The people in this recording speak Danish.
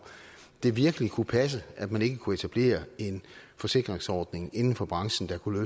det virkelig kunne passe at man ikke kunne etablere en forsikringsordning inden for branchen der kunne